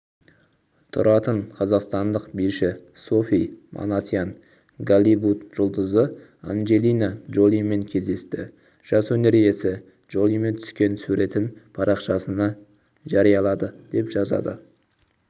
тұратын қазақстандық биші софи манасян голливуд жұлдызы анджелина джолимен кездесті жас өнер иесі джолимен түскен суретін парақшасында жариялады деп жазады